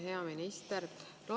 Hea minister!